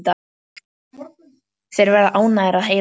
Þeir verða ánægðir að heyra það.